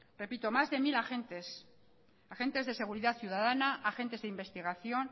repito más de mil de agentes agentes de seguridad ciudadana agentes de investigación